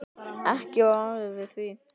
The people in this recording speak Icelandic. Ekki var orðið við því.